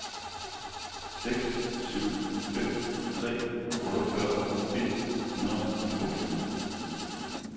seks syv fem tre otteogfyrre et hundrede og toogtyve